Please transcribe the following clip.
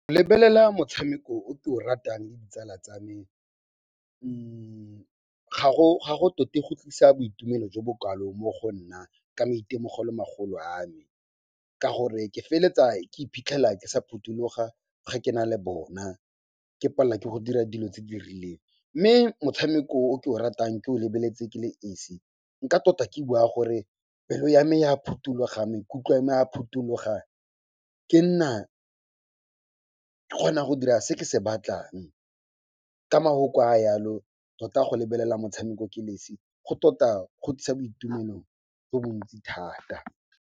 Lebelela motshameko o ke o ratang le ditsala tsa me ga go tote go tlisa boitumelo jo bokalo mo go nna ka maitemogelo-magolo a me ka gore ke feletsa ke iphitlhela ke sa phuthuloga ga ke na le bona, ke palelwa ke go dira dilo tse di rileng. Mme motshameko o ke o ratang ke o lebeletse ke le esi nka tota ke bua gore pelo yame ya phutuloga, maikutlo ame a phutuloga. Ke nna ke kgona go dira se ke se batlang. Ka mahoko a yalo tota go lebelela motshameko ke le esi, go tota go tlisa boitumelo jo bo ntsi thata.